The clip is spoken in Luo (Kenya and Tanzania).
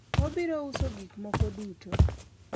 obiro uso gik moko duto